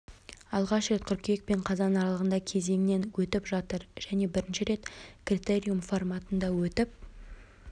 алғаш рет қыркүйек пен қазан аралығында кезеңнен өтіп жатыр және бірінші рет критериум форматында өтіп